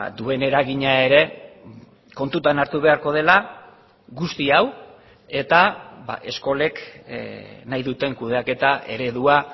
duen eragina ere kontutan hartu beharko dela guzti hau eta eskolek nahi duten kudeaketa eredua